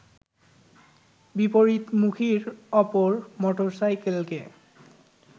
বিপরীতমুখী অপর মোটরসাইকেলকে